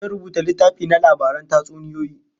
Zan rubuta littafi na labaran tatsuniyoyi